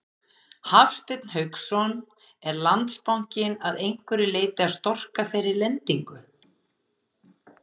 Hafsteinn Hauksson: Er Landsbankinn að einhverju leyti að storka þeirri lendingu?